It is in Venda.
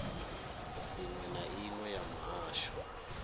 iṅwe na iṅwe ya muhasho